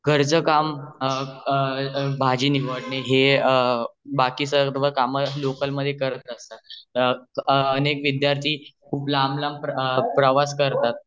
घरचे काम जशे भाजी निवडणे हे अ बाकी सर्व काम लोकल मध्ये करत असतात अनेक विद्यार्थी खूप लांब लांब प्रवास करतात